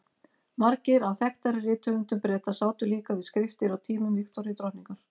Margir af þekktari rithöfundum Breta sátu líka við skriftir á tímum Viktoríu drottningar.